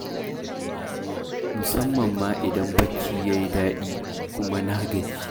Musamman ma idan barci ya yi daɗi, kuma na gaji.